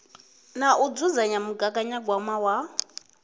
na u dzudzanya mugaganyagwama wa